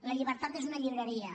la llibertat és una llibreria